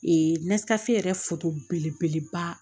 yɛrɛ foto belebeleba